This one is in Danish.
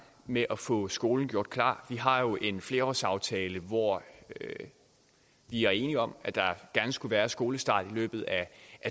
med at få skolen gjort klar vi har jo en flerårsaftale hvor vi er enige om at der gerne skulle være skolestart i løbet af